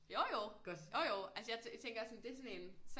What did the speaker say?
Jo jo jo jo altså jeg tænker det er sådan en